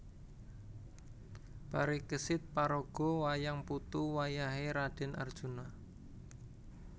Parikesit paraga wayang putu wayah é Radèn Arjuna